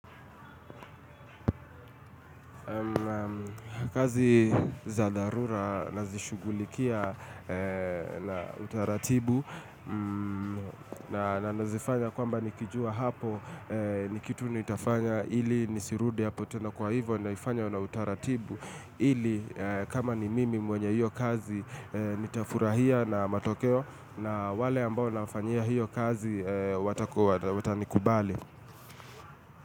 Kazi za darura nazishugulikia na utaratibu na nazifanya kwamba nikijua hapo nikitu nitafanya ili nisirude hapo tena kwa hivo naifanya na utaratibu ili kama ni mimi mwenye hiyo kazi nitafurahia na matokeo na wale ambao nawafanyia hiyo kazi watani kubali.